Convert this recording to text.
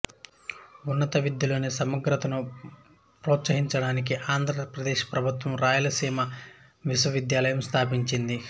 ఉన్నత విద్యలోని సమగ్రతను ప్రోత్సహించడానికి ఆంధ్రప్రదేశ్ ప్రభుత్వం ఈ రాయలసీమ విశ్వవిద్యాలయం స్థాపించింది